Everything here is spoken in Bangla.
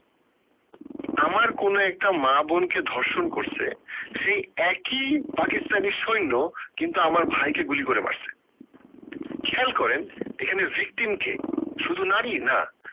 আমার কোনো একটা মা বোন কে ধর্ষণ করছে সেই একই পাকিস্তানী সৈন্য কিন্তু আমার ভাই কে গুলি করে মারছে খেয়াল করেন এখানে victim কে শুধু নারী না